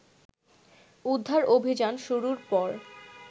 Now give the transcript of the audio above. উদ্ধার অভিযান শুরুর পর